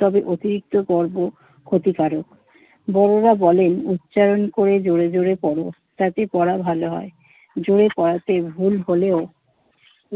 তবে অতিরিক্ত গর্ব ক্ষতিকারক। বড়রা বলেন, উচ্চারণ করে জোরে জোরে পড়ো, তাতে পড়া ভালো হয়। জোরে পড়াতে ভুল হলেও